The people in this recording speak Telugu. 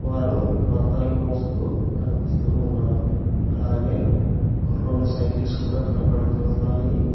వారు బత్తాలు మోస్తూ కనిపిస్తూ ఉన్నారు అలాగే రెండు సైకిల్స్ కూడా కనబడుతూ ఉన్నాయి.